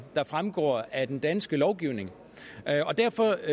der fremgår af den danske lovgivning og derfor